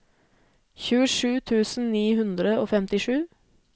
tjuesju tusen ni hundre og femtisju